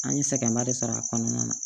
An ye sɛgɛnba de sɔrɔ a kɔnɔna na